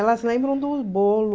Elas lembram do bolo.